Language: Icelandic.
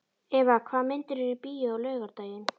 Eva, hvaða myndir eru í bíó á laugardaginn?